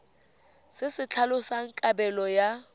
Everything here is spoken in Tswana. se se tlhalosang kabelo ya